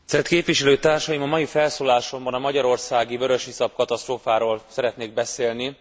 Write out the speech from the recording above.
Tisztelt képviselőtársaim! A mai felszólalásomban a magyarországi vörösiszap katasztrófáról szeretnék beszélni.